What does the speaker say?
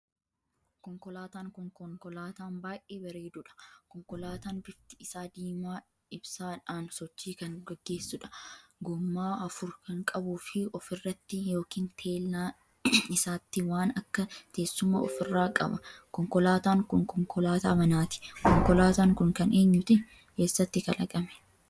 Konkolaataan kun konkolaataan baay'ee bareedudha. Konkolaataan bifti isaa diimaa ibsaadhaan sochii kan geggeessuudha. gommaa afur kan qabuu fi ofirratti ykn teellaa isaatiin waan akka teessuma ofirraa qaba. konkolaataan kun konkolaataa manaati. konkolaataan kun kan eenyuti? Eessatti kalaqame?